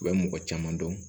U bɛ mɔgɔ caman dɔn